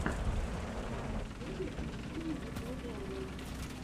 на ютьюбе включи мне видеоблоги